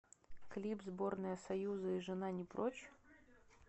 клип сборная союза и жена не прочь